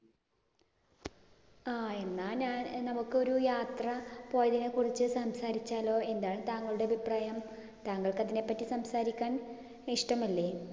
ആഹ് എന്നാ ഞാനമ്മുക്കൊരു യാത്ര പോയതിനെ കുറിച്ച് സംസാരിച്ചാലോ? എന്താണ് താങ്കളുടെ അഭിപ്രായം? താങ്കള്‍ക്ക് അതിനെ പറ്റി സംസാരിക്കാൻ ഇഷ്ടമല്ലേ?